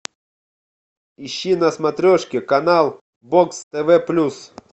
ищи на смотрешке канал бокс тв плюс